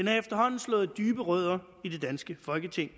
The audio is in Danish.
har efterhånden slået dybe rødder i det danske folketing